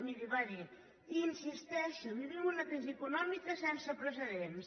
miri va dir hi insisteixo vivim una crisi econòmica sense precedents